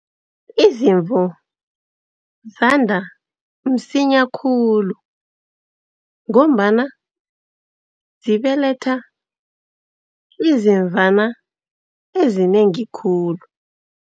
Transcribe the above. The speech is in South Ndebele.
Izimvu zanda msinya khulu, ngombana zibeletha izimvana ezinengi khulu.